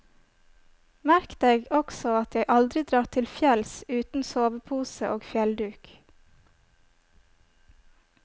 Merk deg også at jeg aldri drar til fjells uten sovepose og fjellduk.